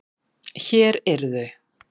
Hér eru þau.